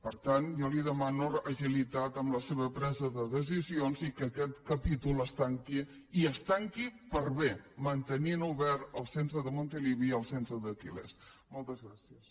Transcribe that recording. per tant jo li demano agilitat en la seva presa de decisions i que aquest capítol es tanqui i es tanqui per bé mantenint obert el centre de montilivi i el centre d’els tilmoltes gràcies